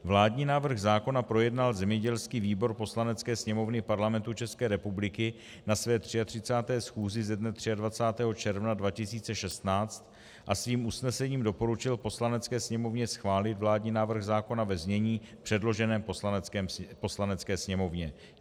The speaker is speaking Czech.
Vládní návrh zákona projednal zemědělský výbor Poslanecké sněmovny Parlamentu České republiky na své 33. schůzi ze dne 23. června 2016 a svým usnesením doporučil Poslanecké sněmovně schválit vládní návrh zákona ve znění předloženém Poslanecké sněmovně.